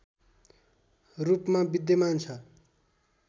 रूपमा विद्यमान छ